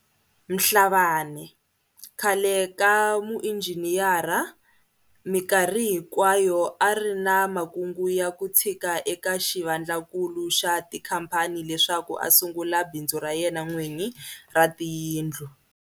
Mhlabane, khale ka muinjhiniyara, mikarhi hinkwa yo a ri na makungu ya ku tshika eka xivandlakulu xa tikhamphani leswaku a sungula bindzu ra yena n'wini ra tiyindlu.